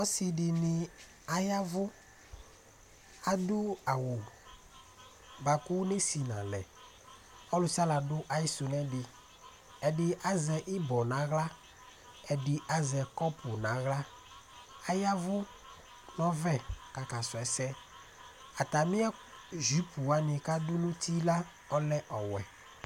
Ɔsidini ayavʋ Adu awu bʋakʋ ɔnesi nʋ alɛ Ɔlusialu adu ayisu nʋ edi Atami azɛ ibɔ nʋ aɣla Ɛdí azɛ kɔpu nu aɣla Ayavʋ nʋ ɔɔvɛɛ kʋ akakɔsu ɛsɛ Atami jʋpu wani kʋ adu nʋ ʋti la ɔlɛ ɔwɛ